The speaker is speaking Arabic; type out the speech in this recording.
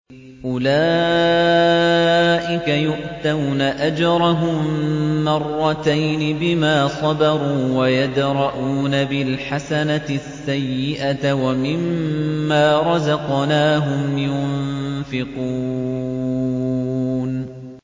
أُولَٰئِكَ يُؤْتَوْنَ أَجْرَهُم مَّرَّتَيْنِ بِمَا صَبَرُوا وَيَدْرَءُونَ بِالْحَسَنَةِ السَّيِّئَةَ وَمِمَّا رَزَقْنَاهُمْ يُنفِقُونَ